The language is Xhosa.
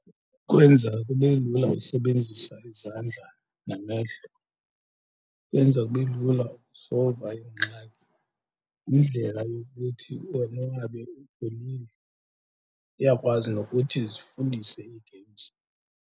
Kwenza kube lula usebenzisa izandla namehlo, kwenza kube lula ukusolva ingxaki. Yindlela yokuthi wonwabe upholile, iyakwazi nokuthi zifundise ii-games.